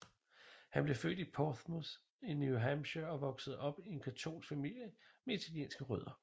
Han blev født i Portsmouth i New Hampshire og voksede op i en katolsk familie med italienske rødder